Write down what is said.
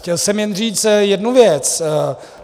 Chtěl jsem jen říct jednu věc.